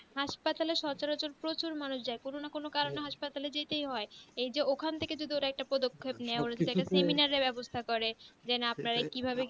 হাসপাতেলের সোচ্চার প্রচুর মানুষ যাই কোনো না কোনো কারণে হসপিটালে যেতে হয় এই তো ওরা যদি ওখান থেকে একটা পদ্ধক্ষেপ নেই বা semenar ব্যাবস্তা করে